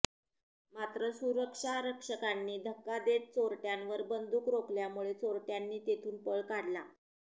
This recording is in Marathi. मात्र सुरक्षारक्षकांनी धक्का देत चोरट्यांवर बंदुक रोखल्यामुळे चोरट्यांनी तेथून पळ काढला